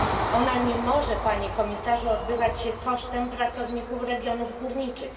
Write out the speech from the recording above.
Ona nie może, Panie komisarzu, odbywać się kosztem pracowników regionów górniczych.